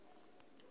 fhasi ha maga a u